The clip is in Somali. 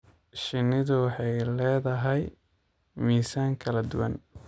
Shinnidu waxay leedahay miisaan kala duwan.